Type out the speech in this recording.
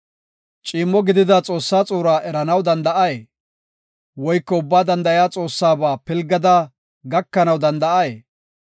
“Ciimmo gidida Xoossaa xuuraa eranaw danda7ay? Woyko Ubbaa Danda7iya Xoossaba pilgada gakanaw danda7ay?